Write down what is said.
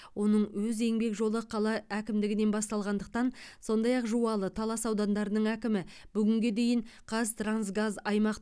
оның өз еңбек жолы қала әкімдігінен басталғандықтан сондай ақ жуалы талас аудандарының әкімі бүгінге дейін қазтрансгаз аймақ